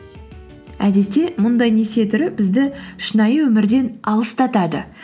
әдетте мұндай несие түрі бізді шынайы өмірден алыстатады